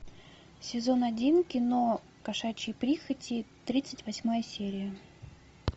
сезон один кино кошачьи прихоти тридцать восьмая серия